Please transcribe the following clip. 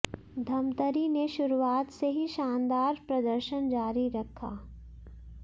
धमतरी ने शुरुआत से ही शानदार प्रदर्शन जारी रखा